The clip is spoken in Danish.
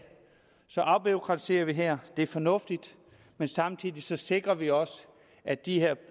afbureaukratiserer vi her det er fornuftigt men samtidig sikrer vi også at de her